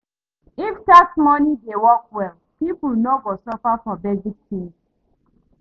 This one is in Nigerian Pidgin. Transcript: If tax money dey work well, people no go suffer for basic things.